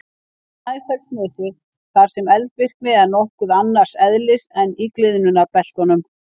Snæfellsnesi þar sem eldvirkni er nokkuð annars eðlis en í gliðnunarbeltunum.